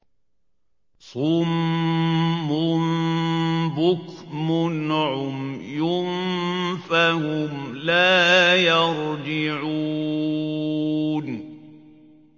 صُمٌّ بُكْمٌ عُمْيٌ فَهُمْ لَا يَرْجِعُونَ